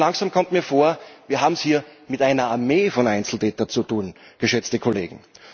Langsam kommt mir vor, wir haben es hier mit einer Armee von Einzeltätern zu tun, geschätzte Kollegen.